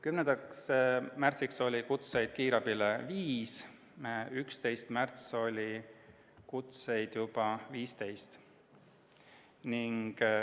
10. märtsil oli kutseid kiirabile viis, 11. märtsil oli kutseid juba 15.